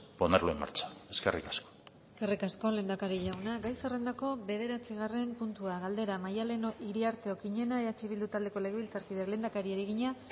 ponerlo en marcha eskerrik asko eskerrik asko lehendakari jauna gai zerrendako bederatzigarren puntua galdera maddalen iriarte okiñena eh bildu taldeko legebiltzarkideak lehendakariari egina